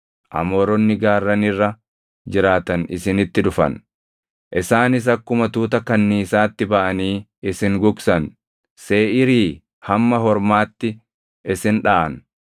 Amooronni gaarran irra jiraatan isinitti dhufan; isaanis akkuma tuuta kanniisaatti baʼanii isin gugsan; Seeʼiirii hamma Hormaatti isin dhaʼan.